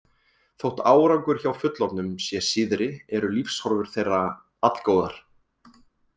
Þótt árangur hjá fullorðnum sé síðri eru lífshorfur þeirra allgóðar.